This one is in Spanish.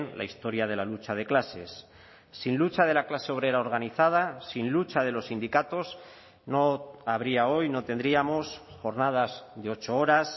la historia de la lucha de clases sin lucha de la clase obrera organizada sin lucha de los sindicatos no habría hoy no tendríamos jornadas de ocho horas